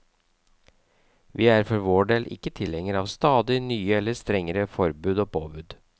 Vi er for vår del ikke tilhengere av stadig nye eller strengere forbud og påbud.